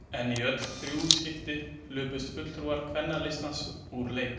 En í öll þau þrjú skipti hlupust fulltrúar Kvennalistans úr leik.